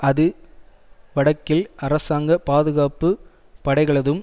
அது வடக்கில் அரசாங்க பாதுகாப்பு படைகளதும்